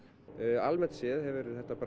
almennt séð hefur þetta